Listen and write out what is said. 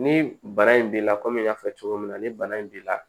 Ni bana in b'i la kɔmi n y'a fɔ cogo min na ni bana in b'i la